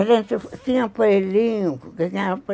A gente tinha aparelhinho